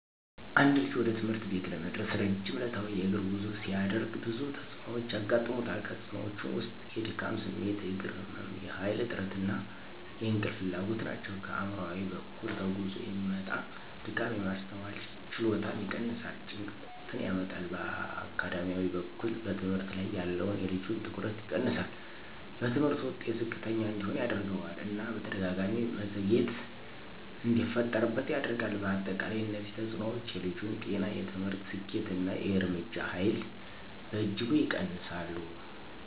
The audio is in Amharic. አንድ ልጅ ወደ ትምህርት ቤት ለመድረስ ረጅም ዕለታዊ የእግር ጉዞ ሲያደርግ ብዙ ተጽዕኖዎች ያጋጥሙታል። ከተፅእኖወቹ ውስጥ የድካም ስሜት፣ የእግር ህመም፣ የኃይል እጥረት እና የእንቅልፍ ፍላጎት ናቸው። ከአእምሯዊ በኩል ከጉዞ የሚመጣ ድካም የማስተዋል ችሎታን ይቀንሳል፣ ጭንቀትን ያመጣል። በአካዳሚያዊ በኩል በትምህርት ላይ ያለውን የልጁን ትኩረት ይቀንሳል፣ በትምህርቱ ውጤት ዝቅተኛ እንዲሆን ያደርገዋል እና በተደጋጋሚ መዘግየት እንዲፈጠርበት ያደርጋል። በአጠቃላይ እነዚህ ተጽዕኖዎች የልጁን ጤና፣ የትምህርት ስኬት እና የእርምጃ ኃይል በእጅጉ ይቀንሳሉ።